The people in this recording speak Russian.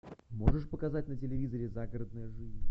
можешь показать на телевизоре загородная жизнь